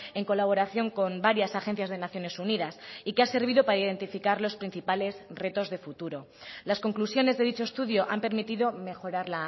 en colaboración con varias agencias de naciones unidas y que ha servido para identificar los principales retos de futuro las conclusiones de dicho estudio han permitido mejorar